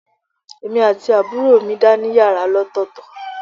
Èmi àti àbúrò mi dá ní yàrá ọ̀tọ̀ọ̀tọ̀